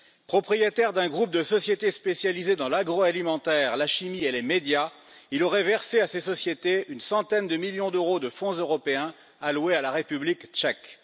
Propriétaire d'un groupe de sociétés spécialisées dans l'agroalimentaire, la chimie et les médias, il aurait versé à ses sociétés une centaine de millions d'euros de fonds européens alloués à la République tchèque.